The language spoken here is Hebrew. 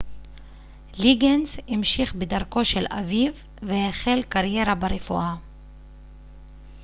ליגינס המשיך בדרכו של אביו והחל קריירה ברפואה